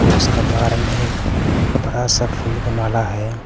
और उसका बाहर में एक बड़ा सा फूल का माला है।